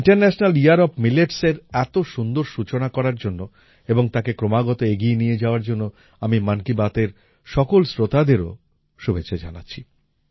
international year of Milletsএর এত সুন্দর সূচনা করার জন্য এবং তাকে ক্রমাগত এগিয়ে নিয়ে যাওয়ার জন্য আমি মন কি বাতএর সকল শ্রোতাদেরও শুভেচ্ছা জানাচ্ছি